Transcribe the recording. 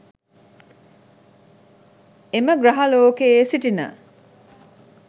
එම ග්‍රහලෝකයේ සිටින